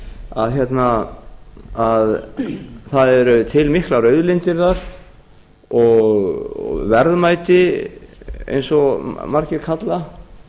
lönd í veröldinni að það eru til miklar auðlindir þar og verðmæti eins og margir kalla